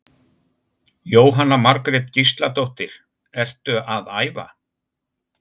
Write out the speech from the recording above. Jóhanna Margrét Gísladóttir: Ertu að æfa?